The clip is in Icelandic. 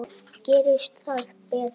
Gerist það betra.